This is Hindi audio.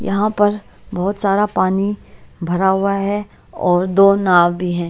यहाँ पर बहोत सारा पानी भरा हुआ है और दो नाव भी है।